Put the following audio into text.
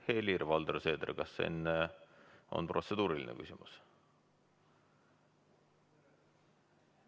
Helir-Valdor Seeder, kas enne on protseduuriline küsimus?